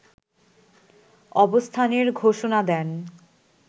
অবস্থানের ঘোষণা দেন